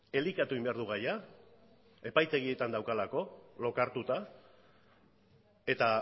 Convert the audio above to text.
elikatu egin behar du gaia epaitegietan daukalako lokartuta eta